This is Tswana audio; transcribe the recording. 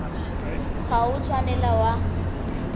ga o a tshwanela wa